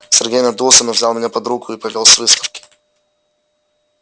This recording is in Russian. сергей надулся но взял меня под руку и повёл с выставки